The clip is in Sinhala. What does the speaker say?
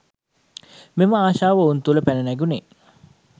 මෙම ආශාව ඔවුන් තුළ පැන නැගුණේ